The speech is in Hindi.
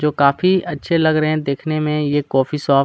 जो काफी अच्छे लग रहे है देखने में ये कोफ़ी शॉप --